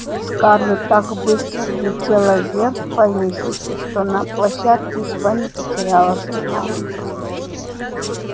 скарлетт так быстро взлетела вверх по лестнице что на площадке едва не потеряла сознание